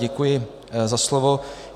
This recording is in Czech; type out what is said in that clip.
Děkuji za slovo.